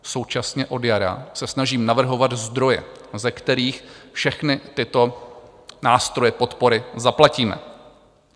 Současně od jara se snažím navrhovat zdroje, ze kterých všechny tyto nástroje podpory zaplatíme.